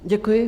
Děkuji.